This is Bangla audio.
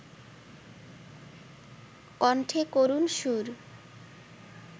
কণ্ঠে করুণ সুর